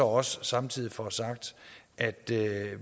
også samtidig få sagt at